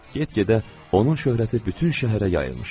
Get-gedə onun şöhrəti bütün şəhərə yayılmışdı.